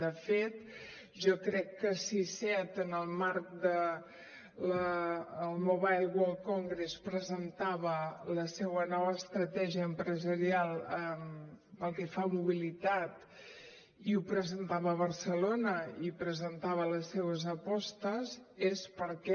de fet jo crec que si seat en el marc del mobile world congress presentava la seua nova estratègia empresarial pel que fa a mobilitat i ho presentava a barcelona i presentava les seues apostes és perquè